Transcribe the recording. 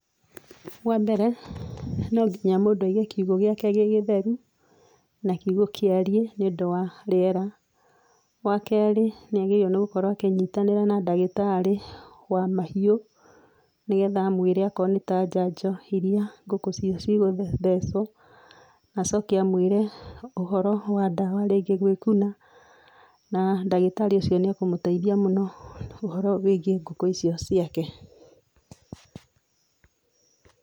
Wambere, no nginya mũndũ aige kiugũ gĩake gĩ gĩtheru ,na kiugũ kĩariĩ nĩũndũ wa rĩera. Wakerĩ nĩ agĩrĩirwo nĩ gũkorwo akĩnyitanĩra na ndagĩtarĩ wa mahiũ, nĩgetha amwĩre akoro nĩ ta njanjo iria ngũkũ icio cigũthecwo, nacoke amwĩre ũhoro wa ndawa rĩngĩ gwĩkuna, na ndagĩtarĩ ũcio nĩ ekũmũteithia mũno ũhoro wĩigiĩ ngũkũ icio ciake.